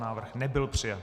Návrh nebyl přijat.